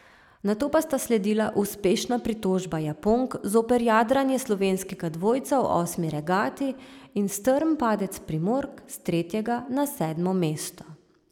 Nato pa sta sledila uspešna pritožba Japonk zoper jadranje slovenskega dvojca v osmi regati in strm padec Primork s tretjega na sedmo mesto.